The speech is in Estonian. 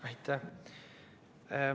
Aitäh!